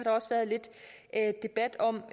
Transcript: også været lidt debat om